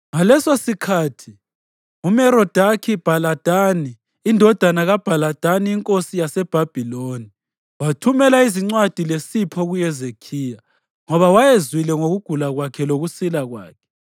Ngalesosikhathi uMerodakhi-Bhaladani indodana kaBhaladani inkosi yaseBhabhiloni, wathumela izincwadi lesipho kuHezekhiya, ngoba wayezwile ngokugula kwakhe lokusila kwakhe.